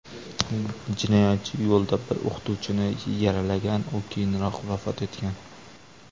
Jinoyatchi yo‘lda bir o‘qituvchini yaralagan, u keyinroq vafot etgan.